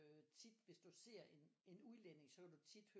Øh tit hvis du ser en udlænding så kan du tit